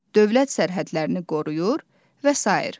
Dövlət sərhədlərini qoruyur və sair.